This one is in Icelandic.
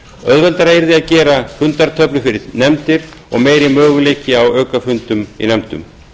auðveldara yrði að gera fundatöflu fyrir nefndir og meiri möguleikar á aukafundum í nefndum